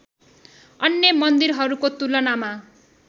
अन्य मन्दिरहरूको तुलनामा